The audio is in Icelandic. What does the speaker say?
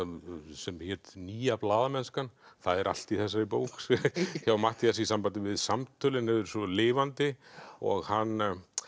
sem hét nýja blaðamennskan það er allt í þessari bók hjá Matthíasi í sambandi við samtölin þau eru svo lifandi og hann